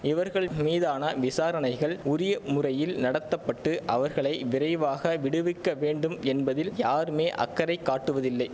இவர்கள் மீதான விசாரணைகள் உரிய முறையில் நடத்த பட்டு அவர்களை விரைவாக விடுவிக்க வேண்டும் என்பதில் யாருமே அக்கறை காட்டுவதில்லை